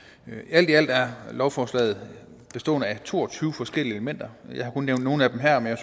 alt i alt er lovforslaget bestående af to og tyve forskellige elementer og jeg har kun nævnt nogle af dem her men